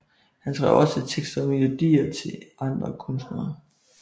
Han skrev også tekster og melodier til andre kunstnere